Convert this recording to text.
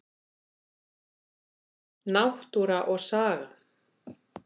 Náttúra og saga.